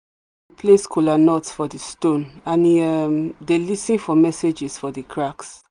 place kola nuts for the stone and he um dey lis ten for messages for the cracks.